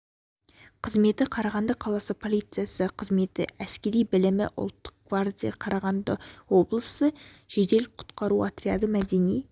қызметі қарағанды қаласы полициясы кызметі әскери білімі ұлттық гвардия қарағанды облысы жедел құтқару отряды мәдени